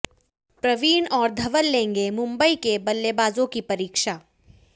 प्रवीण और धवल लेंगे मुंबई के बल्लेबाजों की परीक्षा